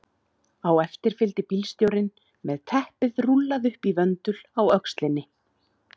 Á eftir fylgdi bílstjórinn með teppið rúllað upp í vöndul á öxlinni.